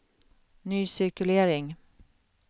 ny cirkulering